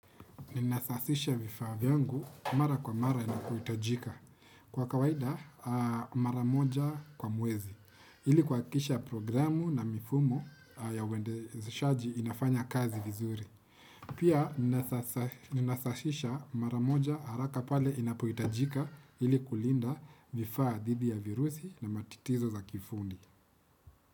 Ninasafisha vifaa vyangu mara kwa mara inapoitajika. Kwa kawaida mara moja kwa mwezi, ili kua kikisha programu na mifumo ya uende shaji inafanya kazi vizuri. Pia ninasafisha mara moja haraka pale inapoitajika ili kulinda vifaa dhidi ya virusi na matitizo za kifundi.